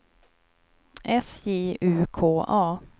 S J U K A